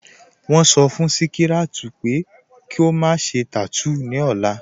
Wọ́n sọ́ fún Śíkíràt pẹ̀ kò má ṣè tátúún ni ọ̀là